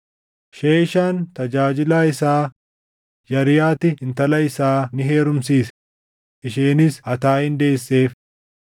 Sheeshaan tajaajilaa isaa Yarihaatti intala isaa ni heerumsiise; isheenis Ataayin deesseef.